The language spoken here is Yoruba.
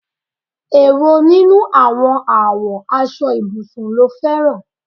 Èwo nínú àwọn àwo aṣọ ibùsùn ló fẹran?